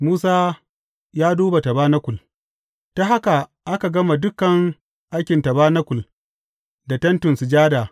Musa ya duba tabanakul Ta haka aka gama dukan aikin tabanakul da Tentin Sujada.